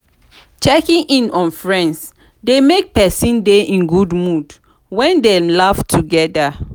checking in on friends de make persin de in good mood when dem laugh together